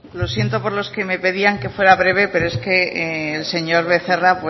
lo siento por los que me pedían que fuera breve pero es que el señor becerra